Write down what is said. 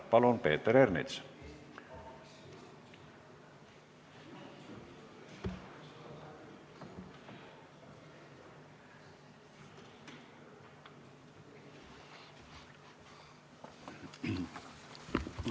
Palun, Peeter Ernits!